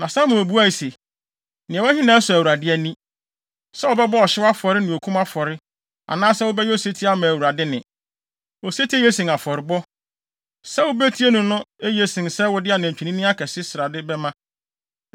Na Samuel buae se, “Nea ɛwɔ he na ɛsɔ Awurade ani: sɛ wobɛbɔ ɔhyew afɔre ne okum afɔre, anaasɛ wobɛyɛ osetie ama Awurade nne? Osetie ye sen afɔrebɔ. Sɛ wubetie no no ye sen sɛ wode adwennini akɛse srade bɛma.